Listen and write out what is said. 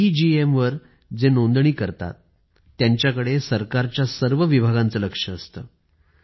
EEGM च्या अं तर्गत जे लोक नोंदणी करतात सरकारचे सर्व विभाग ते बघतात